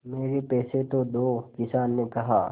मेरे पैसे तो दो किसान ने कहा